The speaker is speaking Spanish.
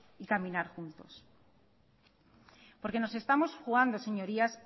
y caminar juntos porque nos estamos jugando señorías